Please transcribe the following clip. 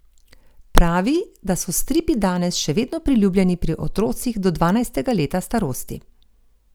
Pravi, da so stripi danes še vedno priljubljeni pri otrocih do dvanajstega leta starosti.